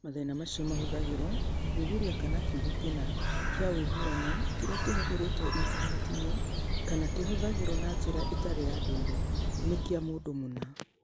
Mathĩna macio mahũthagĩrũo gũthuthuria kana kiugo kĩna kĩa ũiguano (kĩrĩa kĩhũthĩrĩtwo Intaneti-inĩ kana kĩhũthagĩrũo na njĩra ĩtarĩ ya ndũire) nĩ kĩa mũndũ mũna.